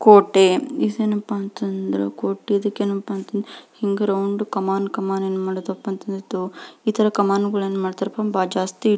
ಕೋಟೆ ಇದೇನಪ್ಪ ಅಂತಂದ್ರ ಕೋಟೆ ಇದಕೇನಪ್ಪ ಅಂದ್ರ ಹಿಂಗ ರೌಂದು ಕಮಾನ್ ಕಮಾನ್ ಏನ್ ಮಾಡೋದಪ್ಪಾ ಅಂತಿತ್ತು ಇತರ ಕಮಾನ್ಗುಳನ್ಮಾಡ್ತಾರಪ್ಪಾ ಜಾಸ್ತಿ --